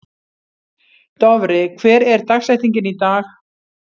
Dofri, hver er dagsetningin í dag?